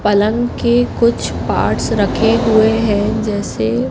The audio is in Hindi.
पलंग के कुछ पार्ट्स रखे हुए हैं जैसे--